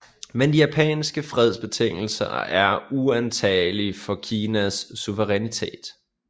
Men de japanske fredsbetingelser er uantagelige for Kinas suverænitet